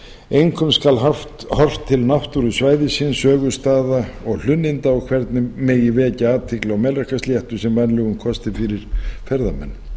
einkum skal horft til náttúru svæðisins sögustaða og hlunninda og hvernig megi vekja athygli á melrakkasléttu sem vænlegum kosti fyrir ferðamenn